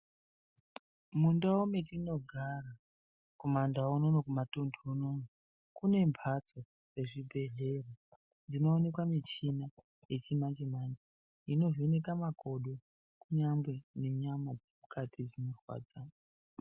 Mundawu matinogara kumaNdawu unonu kumatundu unonu kune mbatso nezvhibhedhlera dzinowanikwa michini yechimanje manje inovheneka makodo kunyangwe nenyama dzemukati dzinorwadza.